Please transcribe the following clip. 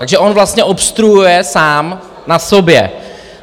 Takže on vlastně obstruuje sám na sobě.